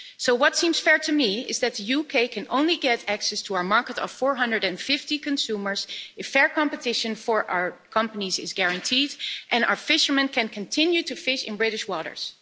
What seems fair to me is that the UK can only get access to our market of 450 million consumers if fair competition for our companies is guaranteed and our fishermen can continue to fish in British waters.